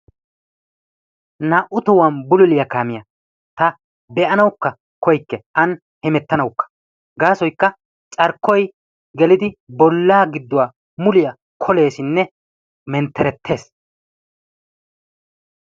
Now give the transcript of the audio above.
Naa"u tohuwan bululiya kaamiya taani be"anawukka koyyikke an hemettanauwkka gaasoyikka carkkoyi gelidi bollaa gidduwa muliya koleesinne mentterettes.